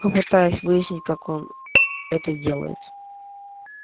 попытаясь выяснить как он это делает